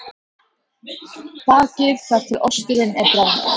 Bakið þar til osturinn er bráðnaður.